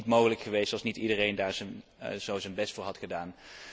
Dat was niet mogelijk geweest als niet iedereen daar zo zijn best voor had gedaan.